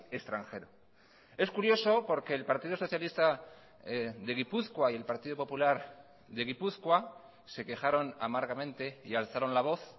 extranjero es curioso porque el partido socialista de gipuzkoa y el partido popular de gipuzkoa se quejaron amargamente y alzaron la voz